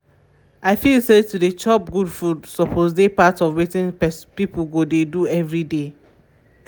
i feel say to dey dey chop good food suppose dey part of wetin people go dey do every day